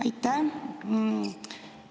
Aitäh!